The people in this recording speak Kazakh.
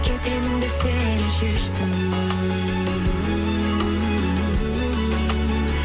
кетемін деп сенен шештім